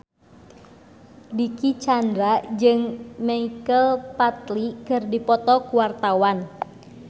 Dicky Chandra jeung Michael Flatley keur dipoto ku wartawan